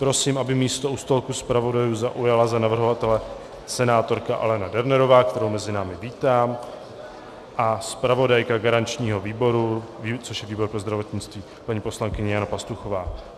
Prosím, aby místo u stolku zpravodajů zaujala za navrhovatele senátorka Alena Dernerová, kterou mezi námi vítám, a zpravodajka garančního výboru, což je výbor pro zdravotnictví, paní poslankyně Jana Pastuchová.